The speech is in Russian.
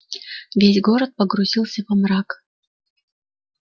весь город погрузился во мрак